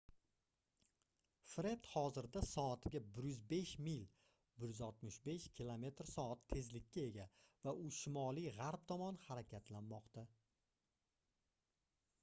fred hozirda soatiga 105 mil 165 km/s tezlikka ega va u shimoliy-g'arb tomon harakatlanmoqda